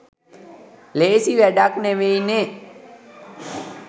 ලේසි වැඩක් නෙවෙයි නේ